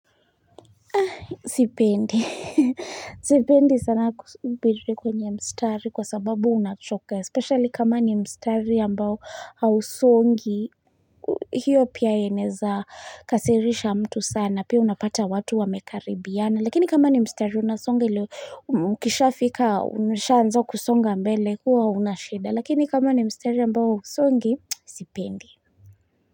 Sipendi, sipendi sana kusubiri kwenye mstari kwa sababu unachoka, especially kama ni mstari ambao hausongi. Hiyo pia inaeza kasirisha mtu sana. Pia unapata watu wamekaribiana. Lakini kama ni mstari unasonga iliyo, mkishafika umeshaanza kusonga mbele huo hauna shida. Lakini kama ni mstari ambao hausongi sipendi.